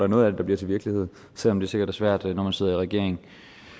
noget af det til virkelighed selv om det sikkert er svært når man sidder i regering